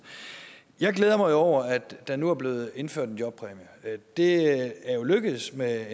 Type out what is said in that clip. jeg glæder mig jo over at der nu er blevet indført en jobpræmie det er lykkes med